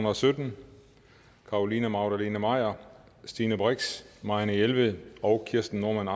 og sytten carolina magdalene maier stine brix marianne jelved og kirsten normann